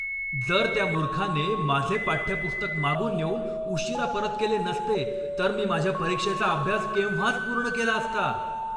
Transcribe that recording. जर त्या मूर्खाने माझे पाठ्यपुस्तक मागून नेऊन उशिरा परत केले नसते तर मी माझ्या परीक्षेचा अभ्यास केव्हाच पूर्ण केला असता.